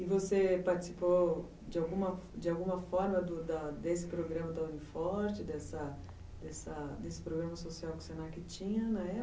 E você participou de alguma de alguma forma desse programa da Uniforte, dessa desse programa social que o Senac tinha na época?